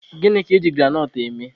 Gịnị ka I ji granọt eme?